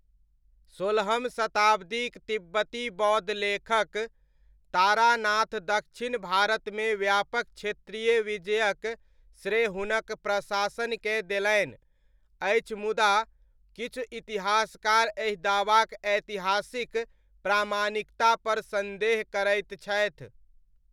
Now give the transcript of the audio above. सोलहम शताब्दीक तिब्बती बौद्ध लेखक तारानाथ दक्षिण भारतमे व्यापक क्षेत्रीय विजयक श्रेय हुनक प्रशासनकेँ देलनि अछि मुदा किछु इतिहासकार एहि दावाक ऐतिहासिक प्रामाणिकतापर सन्देह करैत छथि।